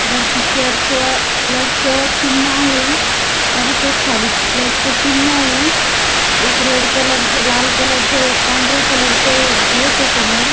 वरती church plus चिन्ह आहे. परत एक खाली प्लस च चिन्ह आहे. एक रेड कलर च लाल कलर च एक पांढऱ्या कलर च एक गेट हे समोर.